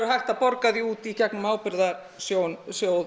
hægt að borga því út í gegnum ábyrgðasjóð